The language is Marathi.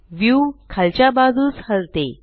व्यू खालच्या बाजूस हलते